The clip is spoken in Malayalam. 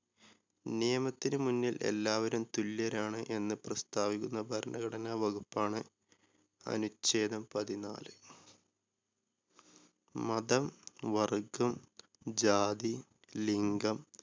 നിയമത്തിന് മുന്നിൽ എല്ലാവരും തുല്യരാണ് എന്ന് പ്രസ്താവിക്കുന്ന ഭരണഘടന വകുപ്പാണ് അനുഛേദം പതിനാല് മതം, വർഗം, ജാതി, ലിങ്കം